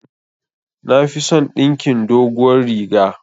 Nafison dinkin doguwar riga